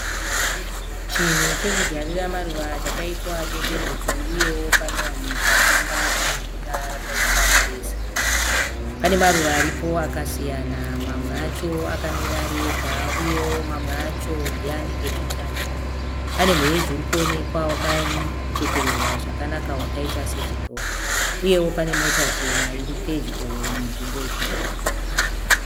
Chinhu chekudyarira maruva chakaitwa netenhedzi uye panovanikwa danda rinomira rakaiswa mureza pane maruva aripo akasiyana mamwe acho akamira ari ega uyewo amwe acho ndoanenge tutanda manemuheji huripo wakachekererwa zvakanaka kwakaita sechibhora uyewo pane Mota chena iri pedyo ne nzvimbo iyi